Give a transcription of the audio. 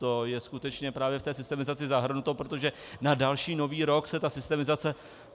To je skutečně právě v té systemizaci zahrnuto, protože na další nový rok se ta systemizace...